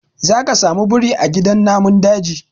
Zaka samu biri a gidan namun daji.